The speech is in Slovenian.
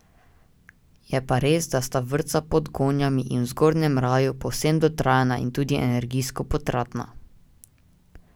Je pa res, da sta vrtca Pod gonjami in v Zgornjem kraju, povsem dotrajana in tudi energijsko potratna.